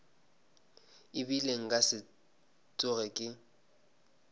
ebile nka se tsoge ke